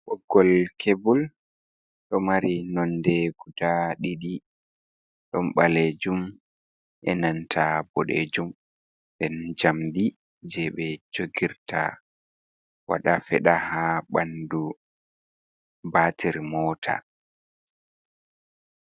b Ɓoggol kebol ɗo mari nonde guda ɗiɗi ɗon ɓalejum, e nanta boɗejum, den jamdi je ɓe jogirta waɗa feɗa ha bandu batir mota.